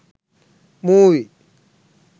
movie